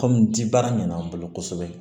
Kɔmi ji baara ɲɛnama bolo kosɛbɛ